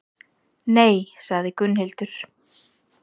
Nei, sagði Gunnhildur.